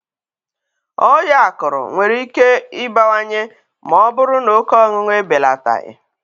Ọya akụrụ nwere ike ibewanye maọbụrụ n' oke ọṅụṅụ ebelataghị.